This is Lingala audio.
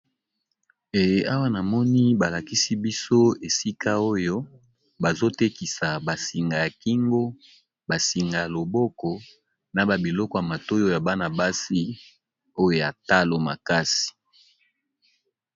Awa namoni ba lakisi biso esika oyo bazotekisa ba singa ya kingo ya loboko na biloko ya matoyi oyo ya bana basi ya talo makasi.